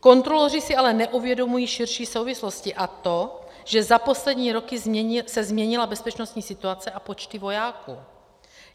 Kontroloři si ale neuvědomují širší souvislosti, a to, že za poslední roky se změnila bezpečnostní situace a počty vojáků.